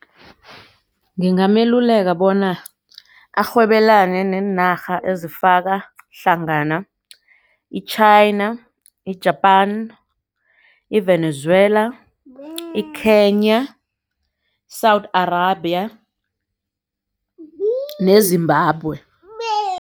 Ngingameluleka bona arhwebelane neenarha ezifaka hlangana i-China, i-Japan, i-Venezuela, i-Kenya, i-South Arabia, ne-Zimbabwe.